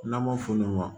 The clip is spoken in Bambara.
N'an b'a fɔ olu ma